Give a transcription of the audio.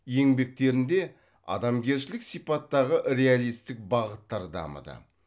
еңбектерінде адамгершілік сипаттағы реалистік бағыттар дамыды